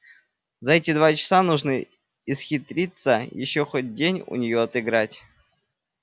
за эти два часа нужно исхитриться ещё хоть день у нее отыграть